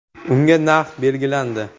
Unga narx belgilandi.